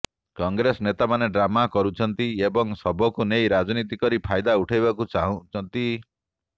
କଂଗ୍ରେସ ନେତାମାନେ ଡ୍ରାମା କରୁଛନ୍ତି ଏବଂ ଶବକୁ ନେଇ ରାଜନୀତି କରି ଫାଇଦା ଉଠାଇବାକୁ ଚାହୁଛନ୍ତି